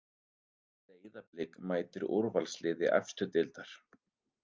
Breiðablik mætir úrvalsliði efstu deildar